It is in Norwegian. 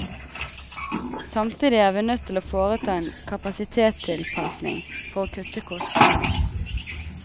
Samtidig er vi nødt til å foreta en kapasitetstilpasning for å kutte kostnader.